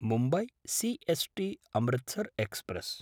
Mumbai C S टी–अमृतसर् express